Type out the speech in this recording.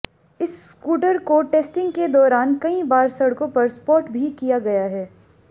इस स्कूटर को टेस्टिंग के दौरान कई बार सड़कों पर स्पॉट भी किया गया है